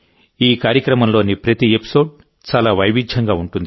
ఈ కార్యక్రమంలోని ప్రతి ఎపిసోడ్ చాలా వైవిధ్యంగా ఉంటుంది